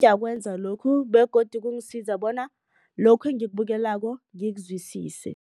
Ngiyakwenza lokhu begodu kungisiza bona lokhu engikubukelako ngikuzwisise.